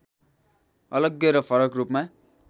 अलग्गै र फरक रूपमा